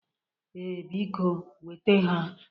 Ee, biko nweta ha